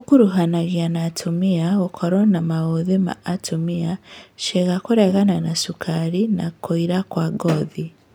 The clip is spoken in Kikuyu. ũkuruhanagia na mũtumia gũkorwo na maũthĩ ma atumia, ciĩga kũregana na cukari na kũira kwa ngothi